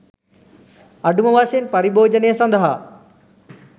අඩු ම වශයෙන් පරිභෝජනය සඳහා